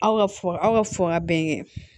Aw ka f aw ka fɔ ka bɛn kɛ